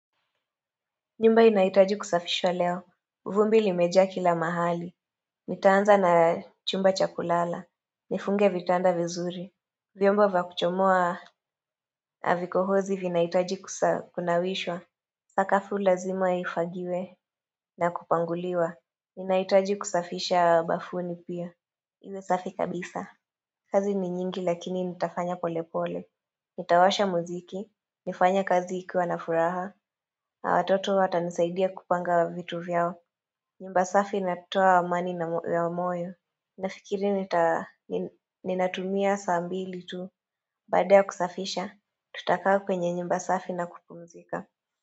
Nyumba inaitaji kusafishwa leo, vumbi limejaa kila mahali Nitaanza na chumba chakulala, nifunge vitanda vizuri Vyomba vyakuchomoa havikohozi vinahitaji kunawishwa Sakafu lazima ifagiwe na kupanguliwa nahitaji kusafisha bafuni pia Iwe safi kabisa kazi ni nyingi lakini nitafanya pole pole Nitawasha muziki, nifanya kazi ikiwa nafuraha na watoto watanisaidia kupanga wa vitu vyao nyumba safi natoa amani na wa moyo Nafikiri nita ninatumia saa mbili tu Baada ya kusafisha, tutakaa kwenye nyumba safi na kupumzika.